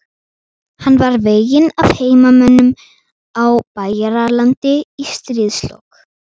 Hann var veginn af heimamönnum á Bæjaralandi í stríðslok.